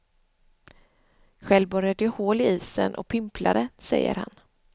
Själv borrade jag hål i isen och pimplade, säger han.